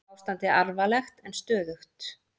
Ástandið alvarlegt en stöðugt